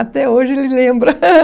Até hoje ele lembra.